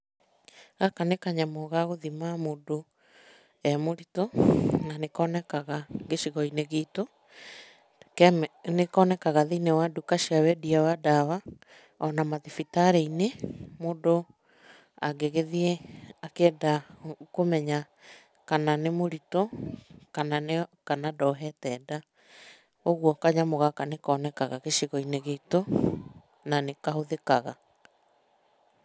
Gaka nĩ kanyamũ ga gũthima mũndũ e mũritũ na nĩkonekaga gĩcigo-inĩ gitũ. Nĩkonekaga thĩ-inĩ wa nduka cia wendia wa ndawa, ona mathibitarĩ-inĩ mũndũ angĩgĩthiĩ akĩenda kũmenya kana nĩ mũritũ, kana ndohete nda. Ũguo kanyamũ gaka nĩkonekaga gĩcigo-inĩ gitũ na nĩ kahũthĩkaga.